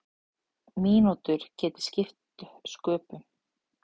Mínútur geti skipt sköpum.